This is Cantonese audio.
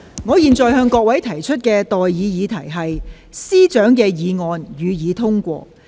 我現在向各位提出的待議議題是：政務司司長動議的議案，予以通過。